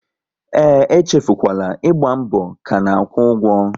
E echefukwala, ịgba mbọ ka na-akwụ ụgwọ!